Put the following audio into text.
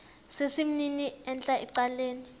sesimnini entla ecaleni